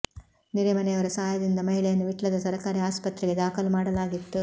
ನೆರೆ ಮನೆಯವರ ಸಹಾಯದಿಂದ ಮಹಿಳೆಯನ್ನು ವಿಟ್ಲದ ಸರಕಾರಿ ಆಸ್ಪತ್ರೆಗೆ ದಾಖಲು ಮಾಡಲಾಗಿತ್ತು